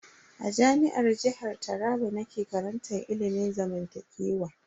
A Jami'ar jihar Taraba nake karantar ilimin zamantakewa.